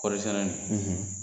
Kɔɔrisɛnɛ in,